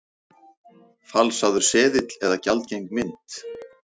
Falsaður seðill eða gjaldgeng mynt?